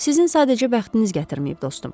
Sizin sadəcə bəxtiniz gətirməyib, dostum.